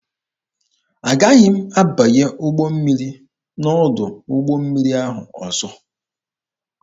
Agaghị m abanye ụgbọ mmiri n'ọdụ ụgbọ mmiri ahụ ọzọ.